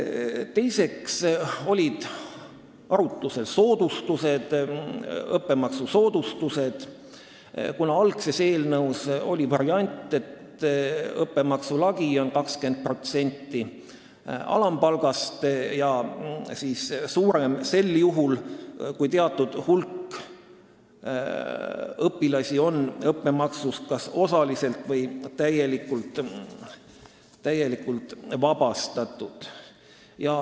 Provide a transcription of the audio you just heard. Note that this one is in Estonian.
Teiseks olid arutlusel õppemaksusoodustused, kuna algses eelnõus oli variant, et õppemaksu lagi on 20% alampalgast ja suurem on see sel juhul, kui teatud hulk õpilasi on õppemaksust kas osaliselt või täielikult vabastatud.